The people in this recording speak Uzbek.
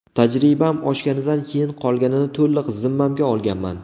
Tajribam oshganidan keyin qolganini to‘liq zimmamga olganman.